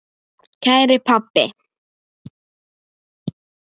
Kæri pabbi.